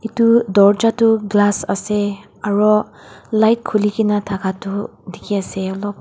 tu dorja tu glass ase aro light khuli ki na thaka tu dikhi ase alop.